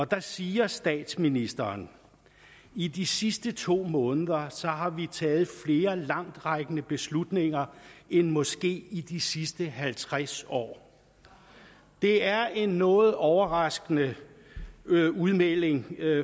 der siger statsministeren i de sidste to måneder har vi taget flere langtrækkende beslutninger end måske i de sidste halvtreds år det er en noget overraskende udmelding